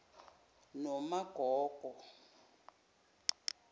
nomagogo